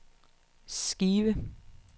skive